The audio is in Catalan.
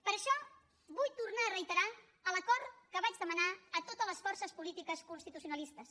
per això vull tornar a reiterar l’acord que vaig demanar a totes les forces polítiques constitucionalistes